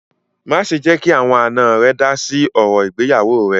Má ṣè jẹ́ kí àwọn àná rẹ dá sí ọ̀rọ̀ ìgbéyàwọ́ rẹ̀!